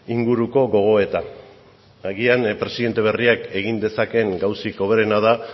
inguruko gogoeta agian presidente berriak egin dezakeen gauzarik hoberena da